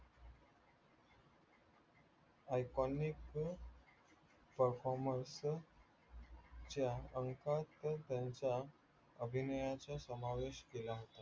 iconic performance च्या अंकात त्यांचा अभिनयाचा समावेश केला होता.